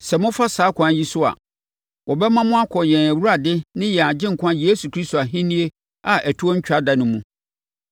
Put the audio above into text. Sɛ mofa saa ɛkwan yi so a, wɔbɛma mo akɔ yɛn Awurade ne yɛn Agyenkwa Yesu Kristo Ahennie a ɛtoɔ ntwa da no mu.